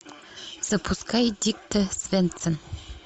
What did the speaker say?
запускай дикте свендсен